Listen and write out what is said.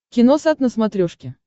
киносат на смотрешке